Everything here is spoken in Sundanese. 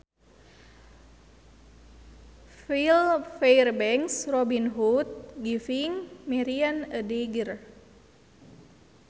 File Fairbanks Robin Hood giving Marian a dagger